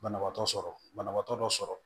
Banabaatɔ sɔrɔ banabaatɔ dɔ sɔrɔ